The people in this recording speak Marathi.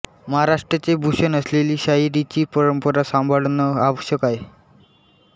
महाराष्ट्राचे भूषण असलेली शाहिरीची परंपरा सांभाळणं आवश्यक आहे